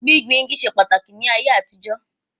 Gbíngbin igi ṣe pàtàkì ní àtijọ́